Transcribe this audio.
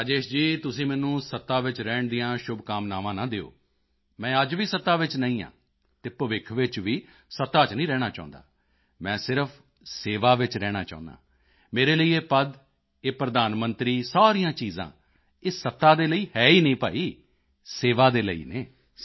ਰਾਜੇਸ਼ ਜੀ ਤੁਸੀਂ ਮੈਨੂੰ ਸੱਤਾ ਵਿੱਚ ਰਹਿਣ ਦੀਆਂ ਸ਼ੁਭਕਾਮਨਾਵਾਂ ਨਾ ਦਿਓ ਮੈਂ ਅੱਜ ਵੀ ਸੱਤਾ ਵਿੱਚ ਨਹੀਂ ਹਾਂ ਅਤੇ ਭਵਿੱਖ ਵਿੱਚ ਵੀ ਸੱਤਾ ਚ ਨਹੀਂ ਰਹਿਣਾ ਚਾਹੁੰਦਾ ਹਾਂ ਮੈਂ ਸਿਰਫ਼ ਸੇਵਾ ਵਿੱਚ ਰਹਿਣਾ ਚਾਹੁੰਦਾ ਹਾਂ ਮੇਰੇ ਲਈ ਇਹ ਪਦ ਇਹ ਪ੍ਰਧਾਨ ਮੰਤਰੀ ਸਾਰੀਆਂ ਚੀਜ਼ਾਂ ਇਹ ਸੱਤਾ ਦੇ ਲਈ ਹੈ ਹੀ ਨਹੀਂ ਭਾਈ ਸੇਵਾ ਦੇ ਲਈ ਹਨ